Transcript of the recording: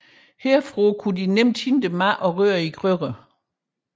Herfra kunne de nemt hente mad og røre i gryderne